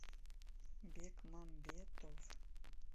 бекмамбетов